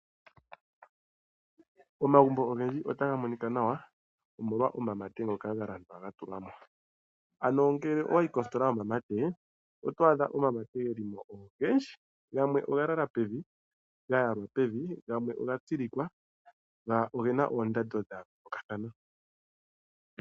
Omagumbo ogendji otaga monika nawa omolwa omamate ngoka galandwa gatulwamo. Ano ngele owayi kositola yomamate oto adha omamate gelimo ogendji gamwe ogalala pevi gayalwa pevi gamwe ogatsilikwa na ogena oondando dhayoolokathana.